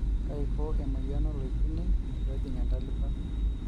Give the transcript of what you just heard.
kaiko e moyian oloipirnyiny peejing entalipa